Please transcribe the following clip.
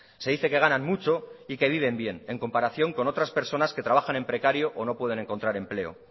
se dice que ganan mucho y que viven bien en comparación con otras personas que trabajan en precario o no pueden encontrar empleo